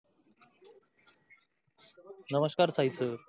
नमस्कार सहित.